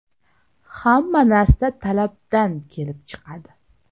Hamma narsa talabdan kelib chiqadi.